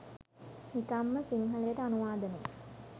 නිකං ම සිංහලට අනුවාදනය